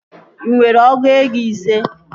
Ị nwere ọgụ ego ise?